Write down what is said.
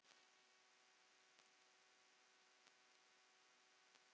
Vegna þeirra er ég ríkari.